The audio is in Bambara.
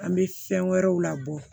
An bɛ fɛn wɛrɛw labɔ